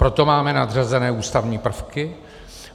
Proto máme nadřazené ústavní prvky.